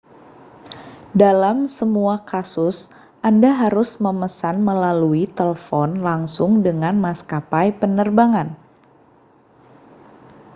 dalam semua kasus anda harus memesan melalui telepon langsung dengan maskapai penerbangan